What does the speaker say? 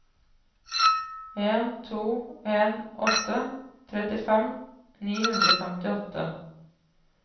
en to en åtte trettifem ni hundre og femtiåtte